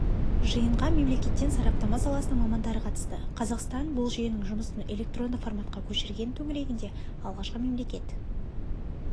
жиынға мемлекеттен сараптама саласының мамандары қатысты қазақстан бұл жүйенің жұмысын электронды форматқа көшірген төңірегінде алғашқы мемлекет